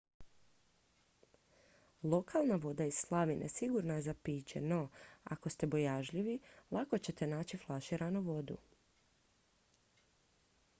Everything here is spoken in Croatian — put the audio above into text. lokalna voda iz slavine sigurna je za piće no ako ste bojažljivi lako ćete naći flaširanu vodu